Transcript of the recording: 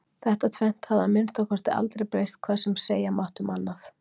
Þetta tvennt hafði að minnsta kosti aldrei breyst hvað sem segja mátti um annað.